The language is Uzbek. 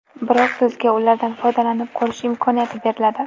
Biroq sizga ulardan foydalanib ko‘rish imkoniyati beriladi.